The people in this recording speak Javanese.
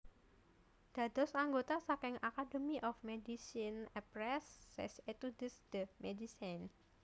Dados anggota saking Academy of MedicineAprès ses études de médecine